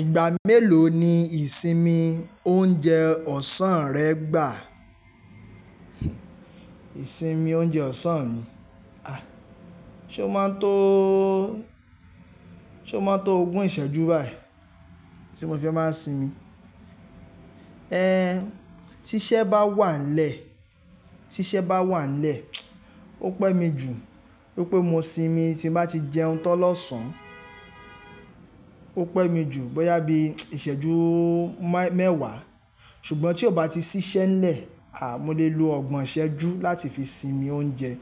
Ìgbà mélòó ni ìsinmi oúnjẹ ọ̀sán rẹ gbà? Ìsinmi oúnjẹ ọ̀sán mi. Ah! Ṣé o máa tó, ṣe o máa n tó ogún ìṣẹ́jú báyìí tí mo fi máa ń sinmi? Ehn! Tí iṣẹ́ bá wà nlẹ, tí iṣẹ́ bá wà nlẹ, ó pẹ́ mi jù wípé mo sinmi tí n bá ti jẹun tán lọ́sàn án. Ó pẹ́ mi jù bóyá bí ìṣẹ́jú má-mẹ́wàá. Ṣùgbọ́n tí ó bá ti ṣiṣẹ́ nlẹ, à mo lè lo ọgbọ̀n ìṣẹ́jú láti fi sinmi oúnjẹ